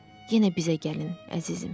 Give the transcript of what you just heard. Yenə bizə gəlin, əzizim.